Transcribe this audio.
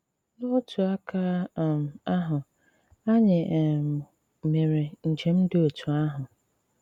N'otu àkà um àhụ, ànyị̀ um mèré njem dị otú àhụ.